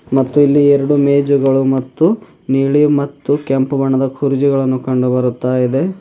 ಮತ್ತು ಇಲ್ಲಿ ಎರಡು ಮೇಜುಗಳು ಮತ್ತು ನೀಳಿ ಮತ್ತು ಕೆಂಪು ಬಣ್ಣದ ಕುರ್ಚಿಗಳನ್ನು ಕಂಡು ಬರ್ತಾ ಇದೆ.